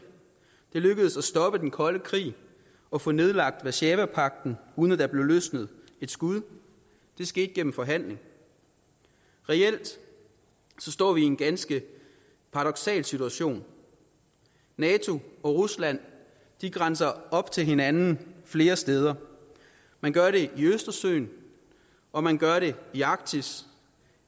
det lykkedes at stoppe den kolde krig og få nedlagt warszawapagten uden at der blev løsnet et skud det skete gennem forhandling reelt står vi i en ganske paradoksal situation nato og rusland grænser op til hinanden flere steder man gør det i østersøen og man gør det i arktis